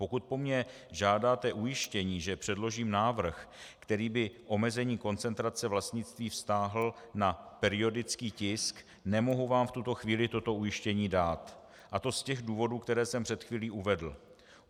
Pokud po mně žádáte ujištění, že předložím návrh, který by omezení koncentrace vlastnictví vztáhl na periodický tisk, nemohu vám v tuto chvíli toto ujištění dát, a to z těch důvodů, které jsem před chvílí uvedl.